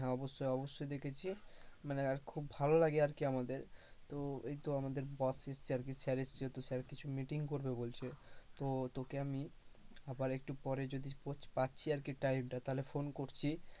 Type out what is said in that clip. হ্যাঁ, অবশ্যই অবশ্যই দেখেছি, মানে আর খুব ভালো লাগে আর কি আমাদের , তো এই তো আমাদের boss এসেছে আর কি sir এসেছে, তো sir কিছু meeting করবে বলছে, তো তোকে আমি আবার একটু পরে যদি পোচ পাচ্ছি আরকি time টা, তাহলে phone করছি,